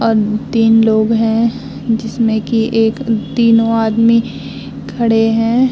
और तीन लोग है जिसमें की एक तीनो आदमी खड़े हैं ।